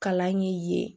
Kalan ye yen